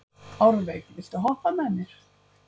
Árveig, viltu hoppa með mér?